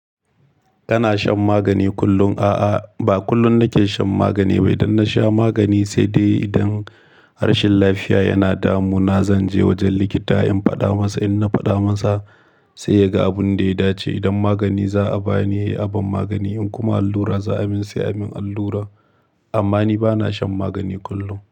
Kana shan magani kullum? A'a, ba kullum nake shan magani ba. Idan nasha magani sai dai idan rashin lafiya yana damuna zanje wajen likita in faɗa masa. In na faɗa masa sai yaga abin da ya dace. Idan magani za'a bani aban magani. In kuma allura za a min, sai a min allura. Amma ni bana shan magani kullum.